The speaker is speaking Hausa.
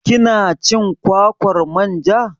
Kina cin kwakwar manja?